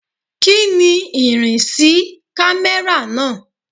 Kíni ìrìnsí camera náà?